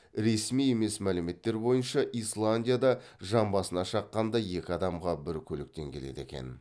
ресми емес мәліметтер бойынша исландияда жан басына шаққанда екі адамға бір көліктен келеді екен